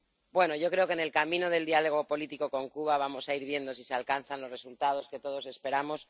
Bueno, yo creo que en el camino del diálogo político con Cuba vamos a ir viendo si se alcanzan los resultados que todos esperamos.